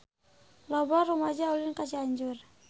Loba rumaja ulin ka Cianjur